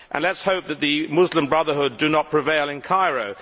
Let us hope that the Muslim Brotherhood do not prevail in Cairo.